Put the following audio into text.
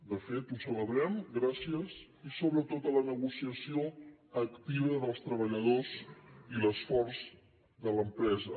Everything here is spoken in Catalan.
de fet ho celebrem gràcies sobretot a la negociació activa dels treballadors i l’esforç de l’empresa